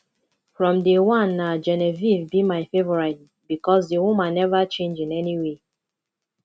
from day one na genevieve be my favourite because the woman never change in any way